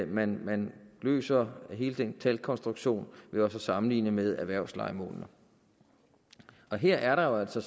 man man løser hele den talkonstruktion ved også at sammenligne med erhvervslejemålene her er der jo altså